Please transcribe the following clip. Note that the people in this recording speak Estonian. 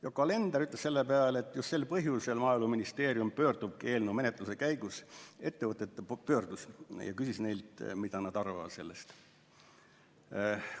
Yoko Alender ütles selle peale, et just sel põhjusel Maaeluministeerium pöörduski eelnõu menetluse käigus ettevõtete poole ja küsis neilt, mida nad sellest arvavad.